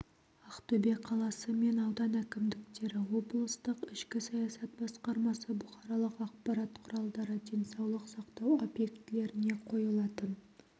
ақтөбе қаласы мен аудан әкімдіктері облыстық ішкі саясат басқармасы бұқаралық ақпарат құралдары денсаулық сақтау объектілеріне қойылатын